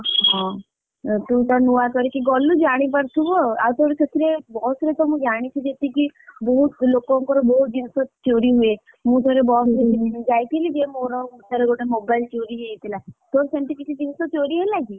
ହଁ ତୁତ ନୂଆ କରିକି ଗଲୁ ଜାଣି ପାରୁଥିବୁ ଆଉ କଣ ସେଥିରେ ବସରେ ତ ମୁଁ ଜାଣିଛି ଯେତିକି ବହୁତ ଲୋକଙ୍କର ବହୁତ ଜିନିଷ ଚୋରି ହୁଏ। ମୁଁ ଥରେ ବସ ରେ ଯାଇଥିଲି ଯେ ମୋର ଥରେ ଗୋଟେ mobile ଚୋରି ହେଇଯାଇଥିଲା ତୋର ସେମତି କିଛି ଜିନିଷ ଚୋରି ହେଲା କି?